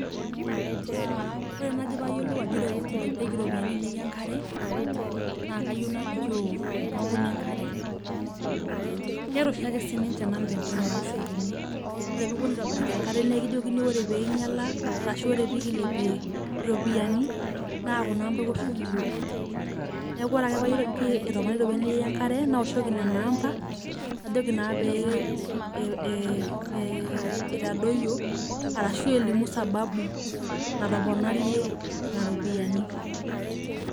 Aa ore nai payiolou ajo ilepieki ropiyani ainei enkare nakayieu nalikio tenkampuni enkare keeta oshiake namba enche naoshokiniore teneliponu aitobiraki enkare na ekijokini ore pinyala ashu ore pekilepie ropiyani na kuna amba iwoshoki iyok neaku ore ake payiolou ajo etoponari ropiyani ainei enkare naoshoki nonamba najoki na pe e e itadoyio arashu elimu sababu nataponarie nona ropiyani.